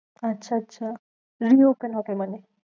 আচ্ছা আচ্ছা reopen হবে মানে?